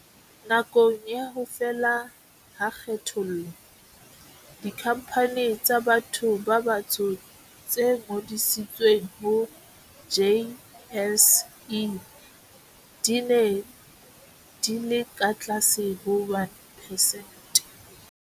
Nakong ya ho fela ha kgethollo, dikhampani tsa batho ba batsho tse ngodisitsweng ho JSE di ne di le ka tlase ho 1 percent.